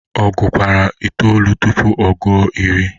ọ gụkwara itolu tụpụ ọ gụo iri?